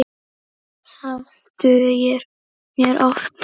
Það dugir mér oftast.